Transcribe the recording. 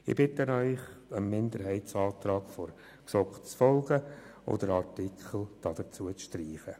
Ich bitte Sie, dem Antrag der GSoK-Minderheit I zu folgen und diesen Artikel zu streichen.